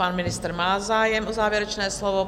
Pan ministr má zájem o závěrečné slovo.